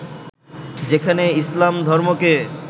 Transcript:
যেখানে ইসলাম ধর্মকে